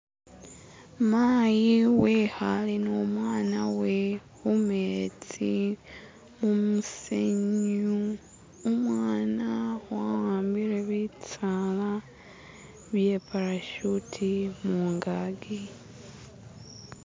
Maayi wehaale ni umwana wewe humetsi umusinde umwana waambile bitsaala bye parashuti mungaaki.